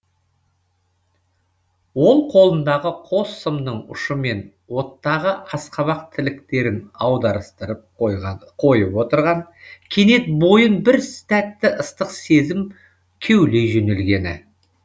ол қолындағы қос сымның ұшымен оттағы асқабақ тіліктерін аударыстырып қойады қойып отырған кенет бойын бір тәтті ыстық сезім кеулей жөнелгені